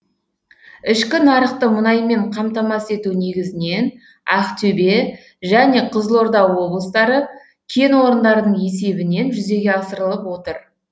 ішкі нарықты мұнаймен қамтамасыз ету негізінен ақтөбе және қызылорда облыстары кен орындарының есебінен жүзеге асырылып отыр